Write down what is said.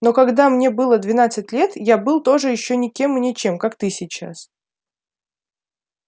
но когда мне было двенадцать лет я был тоже ещё никем и ничем как ты сейчас